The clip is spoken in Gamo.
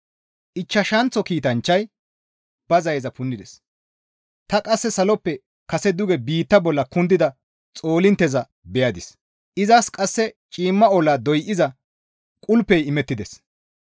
Ichchashanththo kiitanchchay ba zayeza punnides; ta qasse saloppe kase duge biitta bolla kundida xoolintteza beyadis; izas qasse ciimma olla doyza qulpey imettides.